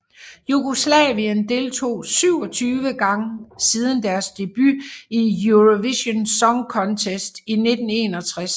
Jugoslavien deltog 27 gange siden deres debut i Eurovision Song Contest i 1961